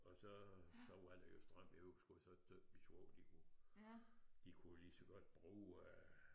Og så så var der jo strøm i huset så min svoger de kunne de kunne jo lige så godt bruge øh